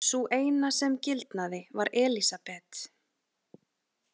Sú eina sem gildnaði var Elísabet.